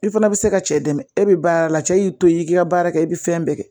I fana bɛ se ka cɛ dɛmɛ e bɛ baara la cɛ y'i to ye i k'i ka baara kɛ i bɛ fɛn bɛɛ kɛ